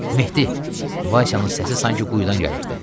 Mehdi, Vasya'nın səsi sanki quyudan gəlirdi.